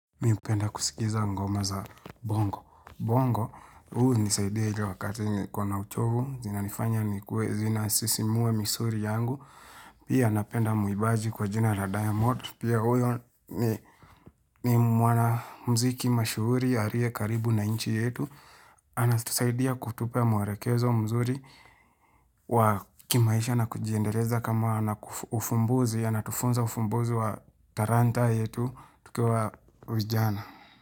Mimi hupenda kusikiza ngoma za bongo. Bongo, hunisaidia wakati nikona uchovu, zinanifanya nikue, zina sisimua misuli yangu, pia napenda mwibaji kwa jina diamond, pia huyo ni mwana mziki mashuhuri, aliye karibu na nchi yetu, anatusaidia kutupea mwelekezo mzuri, wa kimaisha na kujiendeleza kama na ufumbuzi, anatufunza ufumbuzi wa talanta yetu, tukiwa vijana.